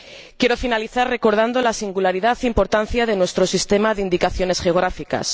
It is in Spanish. Quiero finalizar recordando la singularidad e importancia de nuestro sistema de indicaciones geográficas.